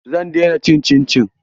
Zan daina cin cincin.